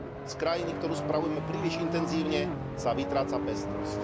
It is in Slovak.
Z krajiny, ktorú spravujeme príliš intenzívne, sa vytráca pestrosť.